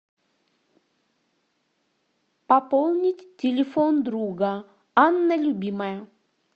пополнить телефон друга анна любимая